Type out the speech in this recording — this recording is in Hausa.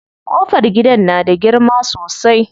Ƙofar gidan na da girma sosai.